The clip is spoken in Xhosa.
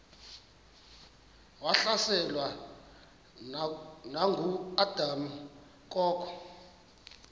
wahlaselwa nanguadam kok